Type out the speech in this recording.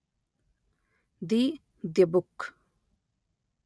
the dybbuk